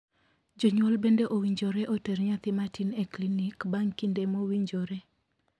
Jonyuol bende owinjore oter nyathi matin e klinik bang' kinde mowinjore.